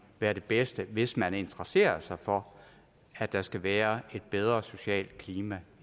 være det bedste hvis man interesserer sig for at der skal være et bedre socialt klima